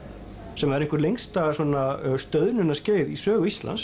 sem er eitthvert lengsta stöðnunarskeið í sögu Íslands